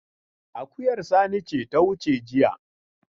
Akuyar Sani ce ta wuce jiya.